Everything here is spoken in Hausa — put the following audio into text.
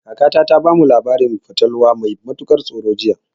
Kakata ta bamu wani labarin fatalwa mai matukar tsoro jiya.